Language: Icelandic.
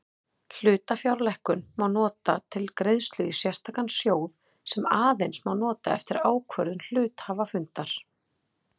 Hlutafjárlækkun má nota til greiðslu í sérstakan sjóð sem aðeins má nota eftir ákvörðun hluthafafundar.